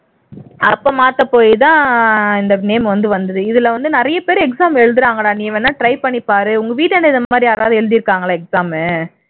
அப்போ மாத்தப்போய்தான் இந்த name வந்து வந்துது இதுல வந்து நிறையப்பேர் exam எழுதுறாங்கடா நீ வேணா try பண்ணிப்பாரு உங்க வீட்டுகிட்ட இது மாதிரி யாராவது எழுதிருக்காங்களா exam